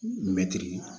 Mɛtiri